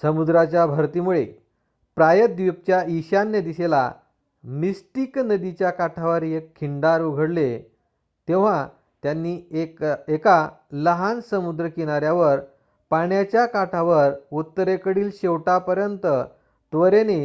समुद्राच्या भरतीमुळे प्रायद्वीपच्या ईशान्य दिशेला मिस्टिक नदीच्या काठावर एक खिंडार उघडले तेव्हा त्यांनी एका लहान समुद्रकिनार्‍यावर पाण्याच्या काठावर उत्तरेकडील शेवटापर्यंत त्वरेने